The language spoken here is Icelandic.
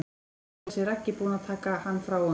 Nú er þessi Raggi búinn að taka hann frá honum.